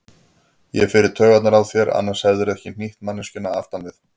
Ég fer í taugarnar á þér, annars hefðirðu ekki hnýtt manneskjunni aftan við.